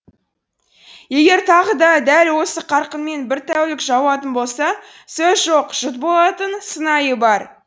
егер тағы да дәл осы қарқынмен бір тәулік жауатын болса сөз жоқ жұт болатын сыңайы бар